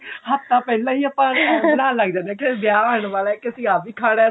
ਹਫਤਾ ਪਹਿਲਾਂ ਹੀ ਆਪਾਂ ਨਹਾਨ ਲੱਗ ਜਾਨੇ ਆਂ ਕਿ ਵਿਆਹ ਆਣ ਵਾਲਾ ਕੀ ਅਸੀਂ ਆਹ ਵੀ ਖਾਣਾ